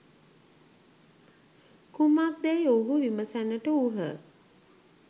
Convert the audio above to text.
කුමක්දැයි ඔවුහු විමසන්නට වූහ.